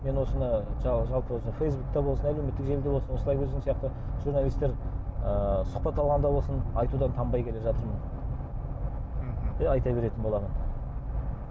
мен осыны жалпы фейсбукте болсын әлеуметтік желіде болсын осылай өзің сияқты журналистер ы сұхбат алғанда болсын айтудан танбай келе жатырмын мхм и айта беретін боламын